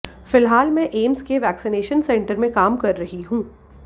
फिलहाल मैं एम्स के वैक्सीनेशन सेंटर में काम कर रही हूं